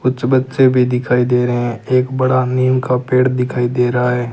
कुछ बच्चे भी दिखाई दे रहे हैं एक बड़ा नीम का पेड़ दिखाई दे रहा है।